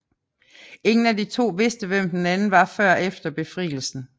Ingen af de to vidste hvem den anden var før efter Befrielsen